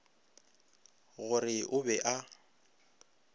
go re o be a